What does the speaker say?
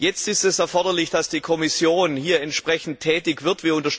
Jetzt ist es erforderlich, dass die Kommission hier entsprechend tätig wird.